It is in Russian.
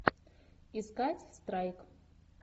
искать страйк